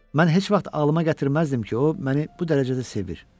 Mən heç vaxt ağlıma gətirməzdim ki, o məni bu dərəcədə sevir.